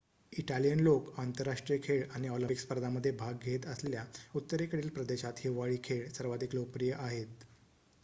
Italian लोकं आंतरराष्ट्रीय खेळ आणि ऑलिम्पिक स्पर्धांमध्ये भाग घेत असलेल्या उत्तरेकडील प्रदेशात हिवाळी खेळ सर्वाधिक लोकप्रिय आहेत